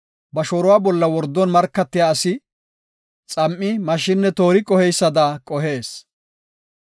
Ba shooruwa bolla wordon markatiya asi, xam7i, mashshinne toori qoheysada qohees.